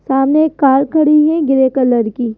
सामने एक कार खड़ी है ग्रे कलर की।